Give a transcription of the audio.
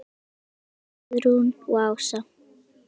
Þínar dætur, Guðrún og Ása.